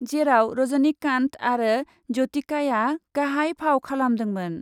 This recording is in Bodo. जेराव रजनिकान्त आरो ज्यतिकाआ गाहाइ फाव खालामदोंमोन।